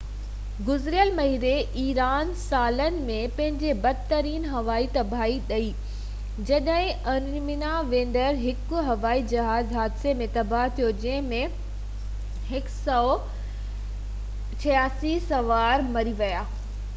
گذريل مهيني ايران سالن ۾ پنهنجي بدترين هوائي تباهي ڏٺي جڏهن ارمينيا ويندڙ هڪ هوائي جهاز حادثي ۾ تباه ٿيو جنهن ۾ 168 سوار مري ويا